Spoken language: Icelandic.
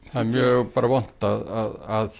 það er mjög vont að